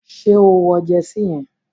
Ṣé o wọ jersey yẹn?